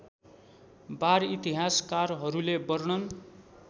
वार इतिहासकारहरूले वर्णन